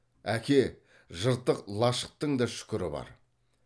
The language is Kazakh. әке жыртық лашықтың да шүкірі бар